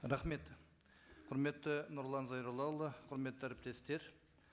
рахмет құрметті нұрлан зайроллаұлы құрметті әріптестер